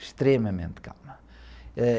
Extremamente calma, ãh...